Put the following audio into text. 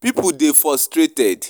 Pipo dey frustrated